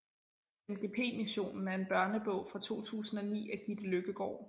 MGP missionen er en børnebog fra 2009 af Gitte Løkkegaard